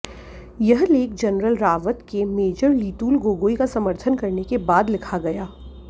यह लेख जरनल रावत के मेजर लीतूल गोगोई का समर्थन करने के बाद लिखा गया